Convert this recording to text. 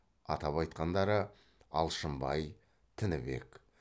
атап айтқандары алшынбай тінібек